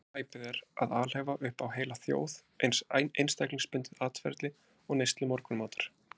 Afar hæpið er að alhæfa upp á heila þjóð eins einstaklingsbundið atferli og neyslu morgunmatar.